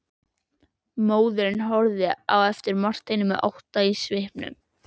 Móðirin horfði á Martein með ótta í svipnum.